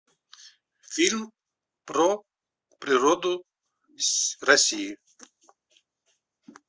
фильм про природу россии